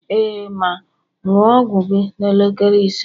ee, ma, ṅụọ ọgwụ gị n'elekere ise